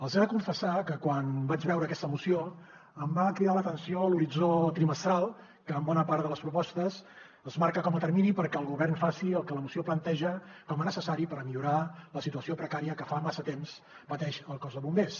els he de confessar que quan vaig veure aquesta moció em va cridar l’atenció l’horitzó trimestral que en bona part de les propostes es marca com a termini perquè el govern faci el que la moció planteja com a necessari per millorar la situació precària que fa massa temps que pateix el cos de bombers